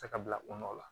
Tɛgɛ bila u nɔ la